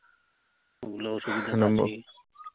ওগুলো অসুবিধা তো